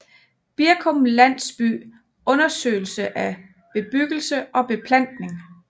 Birkum Landsby Undersøgelse af bebyggelse og beplantning